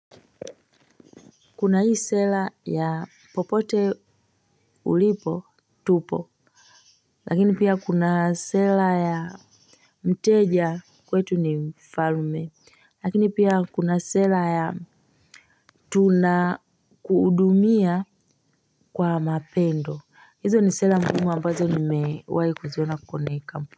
Kuna hii sera ya popote ulipo tupo, lakini pia kuna sera ya mteja kwetu ni mfalme, lakini pia kuna sera ya tunakuhudumia kwa mapendo, hizo ni sera muhimu ambazo ni mewai kuziona kwenye kampuni.